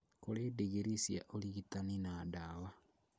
Kũrĩ ndingirii cia ũrigitani na ndawa